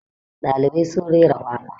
ɗalibai sun rera waka